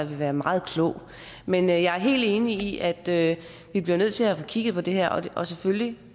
være meget klog men jeg jeg helt enig i at at vi bliver nødt til at få kigget på det her og selvfølgelig